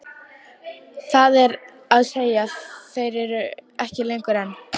Það er að segja þeir eru þar ekki lengur, en.